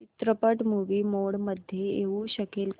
चित्रपट movie mode मध्ये येऊ शकेल का